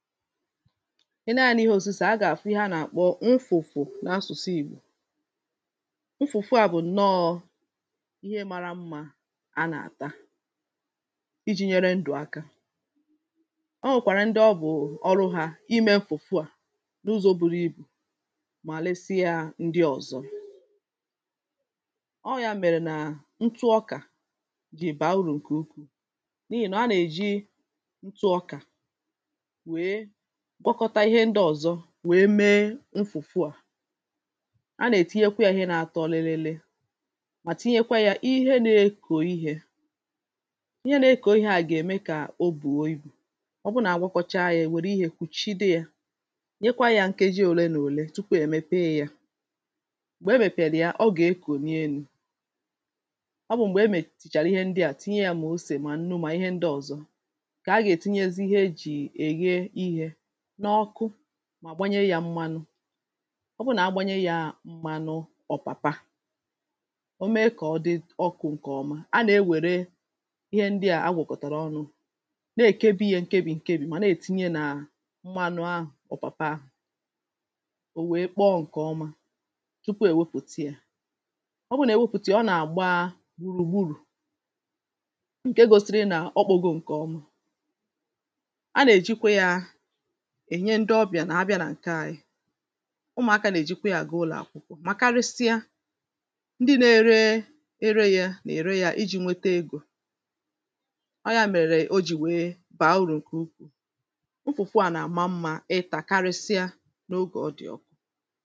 ị nee anyȧ n’ihe òsìse ha gà-àfụ ihe a nà-àkpọ nfụ̀fụ̀ n’asụ̀sụ ìgbò nfụ̀fụ à bụ̀ ǹnọọ̇ ihe mȧrȧ mmȧ a nà-àta iji̇ nyere ndụ̀ aka o nwèkàrà ndị ọ bụ̀ ọrụ yȧ imė nfụ̀fụ à n’ụzọ̇ buru ibù mà resi yȧ ndị ọ̀zọ ọ yȧ mèrè nà ntụ ọkà jì bàa urù ǹkè ukwuù n’ihì nọ̀ a nà-èji ntụ ọkà nwèe mee nfụ̀fụ à a nà-ètinyekwa yȧ ihe na-atọ òlilili mà tinyekwa yȧ ihe nȧ-ekò ihė ihe na-ekò ihė à gà-ème kà o bùo ibù o bụ nà agwọkọchaa yȧ ènwère ihe kùchide yȧ nyekwa yȧ nkeji òle nà òle tupu è mepee yȧ m̀gbè e mèpèlì yà ọ gà-ekù nii elu̇ ọ bụ̀ m̀gbè e mètìchàrà ihe ndị à tinye yȧ mà osè mà nụ mà ihe ndị ọ̀zọ n’ọkụ mà gbanyere yȧ m̀manụ ọ bụrụ nà a gbanyere yȧ m̀manụ ọ̀pàpa o mee kọ̀ọ dị ọkụ̇ ǹkè ọma a nà-ewère ihe ndịà a gwọ̀kọ̀tàrà ọnụ̇ na-èkebi̇ ye nkebì nkebì mà na-ètinye nà m̀manụ ahụ̀ ọ̀pàpa ahụ̀ ò wèe kpọọ ǹkè ọma tupu ò wepùti yȧ ọ bụrụ nà wepùti a ọ nà-àgba gbùrù gburù ǹke gosiri nà ọ kpọgo ǹkè ọma a nà-èjikwa yȧ ùmùaka nà-èjikwa yȧ gị ụlọ̀ àkwụkwọ mà karịsịa ndị nȧ-ėrė ėrė yȧ nà-ère yȧ iji̇ nwete egȯ ọ ya mèrè o jì wèe bàa urù ǹkè ukwuù nfụ̀fụ à nà-àma mmȧ ịtà karịsịa n’ogè ọ dị̀ ọkụ